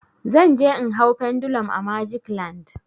Zan je in hau pendulum a magic land.